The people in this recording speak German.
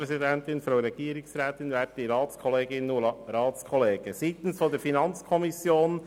Aufgaben überprüfen für einen Aufgaben- und Finanzplan 2019 bis 2021 ohne negativen Finanzierungssaldo